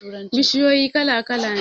Bishiyu kala-kala ne